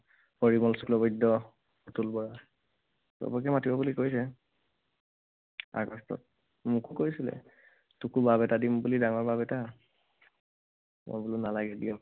অতুল বৰা, সৱকে মাতিব বুলি কৈছে। আগষ্টত, মোকো কৈছিলে, তোকো বাব এটা দিম বুলি, ডাঙৰ বাব এটা। মই বোলো নালাগে দিয়ক।